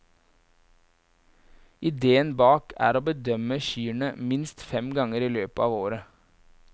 Ideen bak er å bedømme kyrne minst fem ganger i løpet av året.